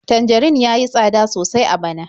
Tanjarin ya yi tsada sosai a bana.